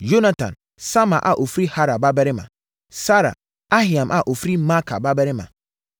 Yonatan, Sama a ɔfiri Harar babarima; Sarar, Ahiam a ɔfiri Maaka babarima;